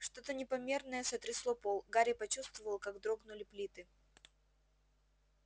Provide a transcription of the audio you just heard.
что-то непомерное сотрясло пол гарри почувствовал как дрогнули плиты